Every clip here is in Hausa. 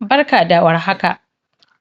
Barka da warhaka,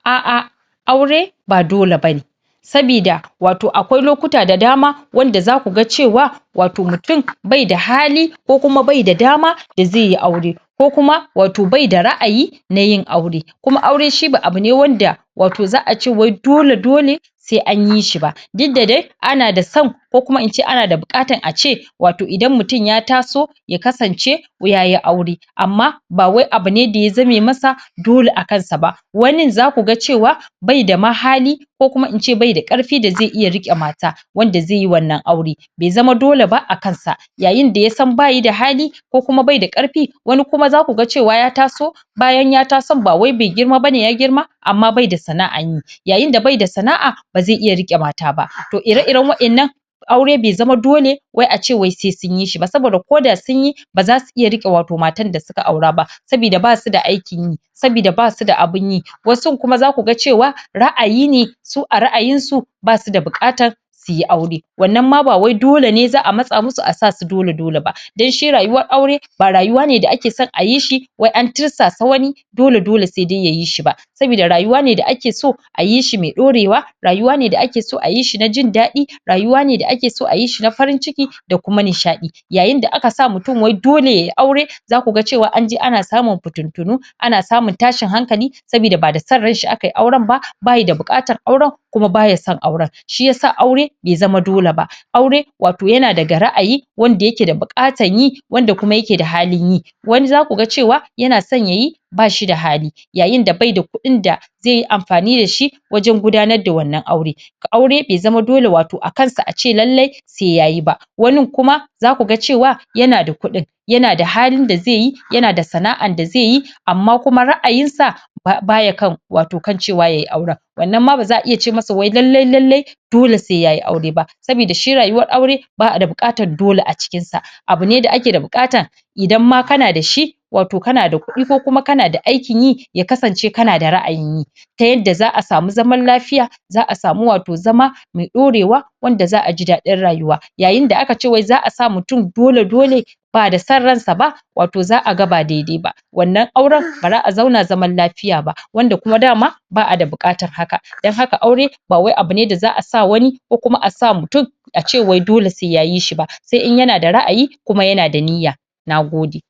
a'a aure ba dole bane sabida wato akwai lokuta da dama wanda zaku ga cewa wato mutun bai da hali ko kuma bai da dama da ze yi aure ko kuma wato bai da ra'ayi na yin aure kuma aure shi ba abu ne wanda wato za'a ce wai dole-dole se an yi shi ba, dukda dai ana da son ko kuma in ce ana da buƙatan a ce wato idan mutun ya taso ya kasance yayi aure amma ba wai abu ne da ya zame masa dole a kan sa ba, wanin zaku ga cewa bai da ma hali, ko kuma ince baida ƙarfi da zai iya riƙe mata wanda ze yi wannan aure be zama dole ba a kan sa yayin da yasan ba yi da hali ko kuma bai da ƙarfi wani kuma zaku ga cewa ya taso bayan ya tason ba wai be girma bane, ya girma amma baida sana'an yi, yayin da baida sana'a ba ze iya riƙe mata ba. To ire-iren waƴannan aure be zama dole wai a ce wai sai sun yi shi ba, saboda koda sun yi ba zasu iya riƙe wato matan da suka aura ba sabida basu da aikin yi sabida basu da abin yi wasun kuma zaku ga cewa ra'ayi ne su a ra'ayin su basu da buƙatan su yi aure wannan ma ba wai dole ne za'a matsa musu a sa su dole-dole ba, dan shi rayuwar aure ba rayuwa ne da ake son a yi shi wai an tirsasa wani dole-dole sai dai yayi shi ba sabida rayuwa ne da ake so a yi shi me ɗorewa rayuwa ne da ake so a yi shi na jindaɗi, rayuwa ne da ake so a yi shi na farin ciki da kuma nishaɗi yayin da aka sa mutun wai dole yayi aure zaku ga cewa an je ana samu fittintunu ana samun tashin hankali sabida ba da son ran shi aka yi auren ba, bayi da buƙatan auren kuma baya son auren shi yasa aure be zama dole ba aure, wato yana da ra'ayi wanda yake da buƙatan yi wanda kuma yake da halin yi wani zaku ga cewa yana son yayi ba shi da hali yayin da baida kuɗin da ze yi amfani da shi wajen gudanar da wannan aure aure be zama dole wato a kan sa a ce lalle se yayi ba wanin kuma zaku ga cewa yana da kuɗin yana da halin da ze yi yana da sana'an da ze yi amma kuma ra'ayin sa baya kan, wato kan cewa yayi auren wannan ma ba za'a iya ce masa wai lallai-lallai dole se yayi aure ba sabida shi rayuwar aure ba'a da buƙatar dole a cikin sa abu ne da ake da buƙatan idan ma kana da shi wato kana da kuɗi ko kuma kana da aikin yi ya kasance kana da ra'ayin yi ta yadda za'a samu zaman lafiya za'a samu wato zama me ɗorewa wanda za'a ji daɗin rayuwa yayin da aka ce wai za'a sa mutun dole-dole ba da san ran sa ba wato za'a ga ba dede ba wannan auren ba za'a zauna zaman lafiya ba, wanda kuma dama ba'a da buƙatan haka, dan haka aure ba wai abu ne da za'a sa wani ko kuma a sa mutun a ce wai dole se yayi shi ba se in yana da ra'ayi kuma yana da niyya na gode.